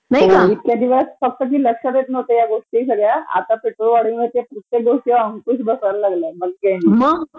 इतके दिवस कधी लक्षात येत नव्हत्या या गोष्टी सगळ्या आता पेट्रोल वाढीण्याचा प्रत्येक अंकुश बसायला लागलाय